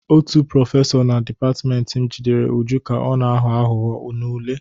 Otu prọfesọ na dịpatịmentị m jidere Uju ka ọ na-aghọ aghụghọ n'ule.